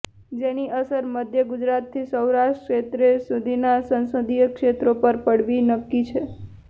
જેની અસર મધ્ય ગુજરાતથી સૌરાષ્ટ્ર ક્ષેત્ર સુધીના સંસદીય ક્ષેત્રો પર પડવી નક્કી છે